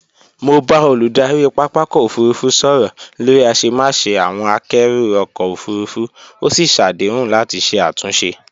Mo bá olùdarí pápakọ̀ òfurufú sọ̀rọ̀ lórí àṣemáṣe àwọn àkẹ́rù ọkọ̀ òfurufú, ó sì ṣàdéhùn láti ṣe àtúnṣe